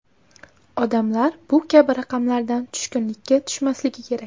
Odamlar bu kabi raqamlardan tushkunlikka tushmasligi kerak.